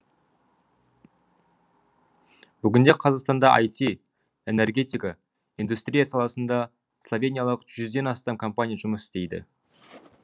бүгінде қазақстанда іт энергетика индустрия саласында словениялық жүзден астам компания жұмыс істейді